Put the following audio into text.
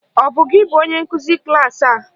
Ọ bụ gị bụ onye nkụzi klaasị a?